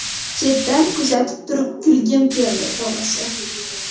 Chetdan kuzatib turib kulgim keldi, to‘g‘risi.